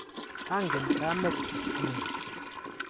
Angen kamet ng'ung'.